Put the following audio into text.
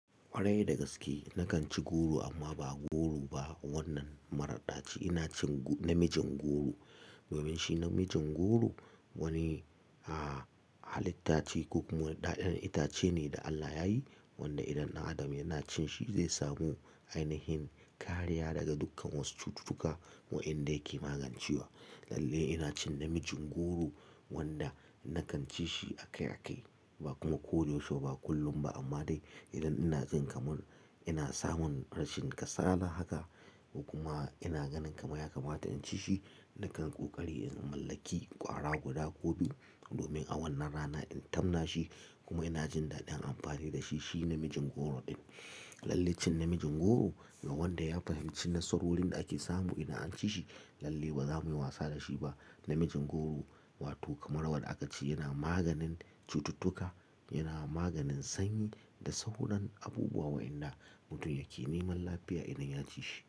Kwarai da gaske nakan ci goro amma ba goro ba wannan maradaci. Ina cin na mijin goro. Domin shi namijin goro? Wani a halitta ce ko kuma daɗaɗen itace ne da Allah ya yi wanda idan na adam yana cin shi zai samu ainihin kariya daga dukkan wasu cututtuka wa inda yake magancewa. Lalle ina cin namijin goro wanda nakan ci shi akai akai ba kuma ko da yaushe ba kullum ba amma dai idan ina jin kamar ina samun rashin kasala haka kuma ina ganin kamar ya kamata in ci shi nakan ƙoƙari in mallaki ƙwara guda ko biyu domin a wannan rana in tamma shi kuma ina jin daɗin amfani da shi. Shi namijin goro din Lallai cin namijin goro ga wanda ya fahimci nasarorin da ake samu idan an ci shi lalle ba za mu yi wasa da shi ba. Namijin goro wato kamar wadda aka ce yana maganin cututtuka, yana maganin sanyi da sauran abubuwa wa inda mutum yake neman lafiya idan ya ci shi.